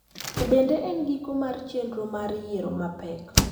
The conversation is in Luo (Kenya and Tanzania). To bende en giko mar chenro mar yiero mapek